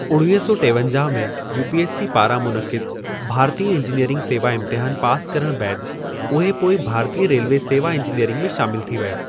उणिवींह सौ टेवंजाहु में यूपीएससी पारां मुनक़िदु भारतीय इंजीनियरिंगि सेवा इम्तिहानु पासि करण बैदि, उहे पोइ भारतीय रेलवे सेवा इंजीनियरिंगि में शामिलु थी विया।